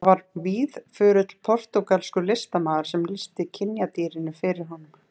Það var víðförull portúgalskur listamaður sem lýsti kynjadýrinu fyrir honum.